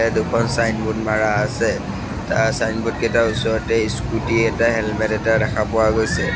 দুখন ছাইনবোৰ্ড মাৰা আছে তাৰ ছাইনবোৰ্ড কেটাৰ ওচৰতে স্কুটী এটাই হেলমেত এটা দেখা পোৱা গৈছে।